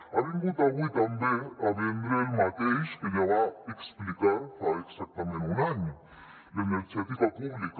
ha vingut avui també a vendre el mateix que ja va explicar fa exactament un any l’energètica pública